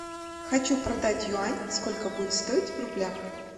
хочу продать юань сколько будет стоить в рублях